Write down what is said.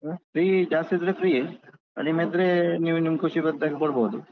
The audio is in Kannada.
ಹಾ free ಜಾಸ್ತಿ ಇದ್ರೆ free ಯೆ. ಕಡಿಮೆ ಇದ್ರೆ ನೀವು ನಿಮ್ಮ ಖುಷಿ ಬಂದಾಗೆ ಕೊಡ್ಬೋದು.